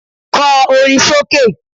Kọ orin sókè